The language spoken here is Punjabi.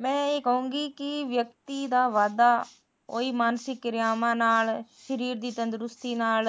ਮੈ ਇਹ ਕਹੁੰਗੀ ਕੀ ਵਿਅਕਤੀ ਦਾ ਵਾਧਾ ਉਹੀ ਮਾਨਸਿਕ ਕਿਰਿਆਵਾ ਨਾਲ ਸਰੀਰ ਦੀ ਤੰਦਰੁਸਤੀ ਨਾਲ